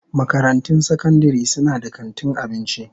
Makarantun sakandare suna da kantin abinci.